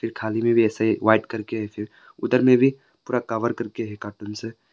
खाली में भी ऐसे वाइट करके ऐसे उधर में भी पूरा कवर करके है कार्टून से--